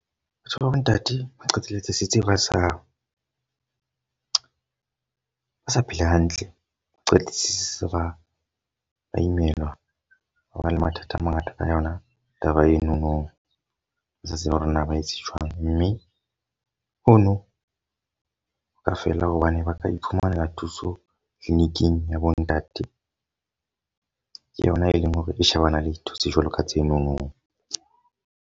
Batho ba bo ntate ba qetelletse setsi ba sa ba sa phela hantle. Ba qetetse se ba imelwa. Ba ba le mathata a mangata ka yona taba enono. Ba sa tsebe hore na ba etse jwang. Mme hono ho ka fela hobane ba ka iphumanela thuso clinic-ing ya bo ntate. Ke yona e leng hore e shebana le dintho tse jwalo ka tsenono.